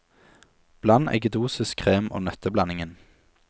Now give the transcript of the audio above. Bland eggedosis, krem og nøtteblandingen.